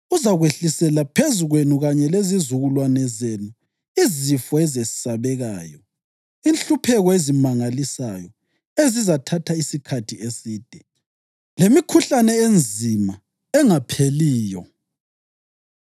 uzakwehlisela phezu kwenu kanye lezizukulwane zenu izifo ezesabekayo, inhlupheko ezimangalisayo ezizathatha isikhathi eside, lemikhuhlane enzima engapheliyo.